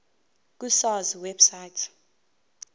ku sars website